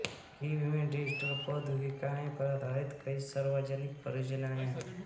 Kyiv में digital प्रौद्योगिकियों पर आधारित कई सार्वजनिक परियोजनाएं हैं